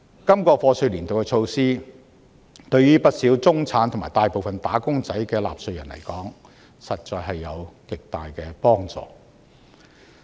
今個課稅年度的措施，對於不少屬中產和大部分"打工仔"的納稅人來說，實在有着極大的幫助。